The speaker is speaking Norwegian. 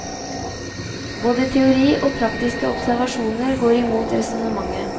Både teori og praktiske observasjoner går imot resonnementet.